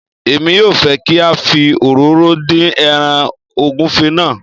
emi yóò fẹ́ kí a fi òróró dín ẹràn ògúnfe náà